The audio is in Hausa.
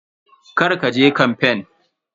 Kar ka je kamfen.